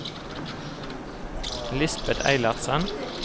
Lisbeth Eilertsen